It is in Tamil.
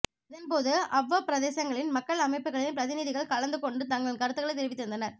இதன்போது அவ்வவ் பிரதேசங்களின் மக்கள் அமைப்புகளின் பிரதிநிதிகள் கலந்துகொண்டு தங்களின் கருத்துக்களை தெரிவித்திருந்தனர்